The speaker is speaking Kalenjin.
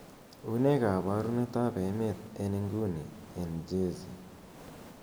unee koborunet ab emet en inguni en jersey